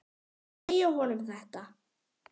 Segja honum þetta?